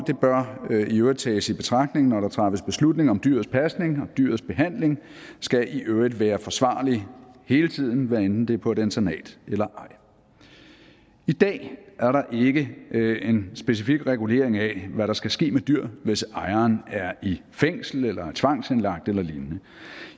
bør i øvrigt tages i betragtning når der træffes beslutning om dyrets pasning og dyrets behandling skal i øvrigt være forsvarlig hele tiden hvad enten det er på et internat eller ej i dag er der ikke en specifik regulering af hvad der skal ske med et dyr hvis ejeren er i fængsel eller tvangsindlagt eller lignende